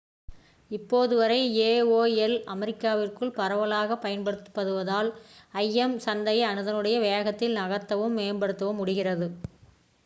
இப்போது வரை aol அமெரிக்காவிற்குள் பரவலாகப் பயன்படுத்தப்படுவதால் im சந்தையை அதனுடைய வேகத்தில் நகர்த்தவும் மேம்படுத்தவும் முடிகிறது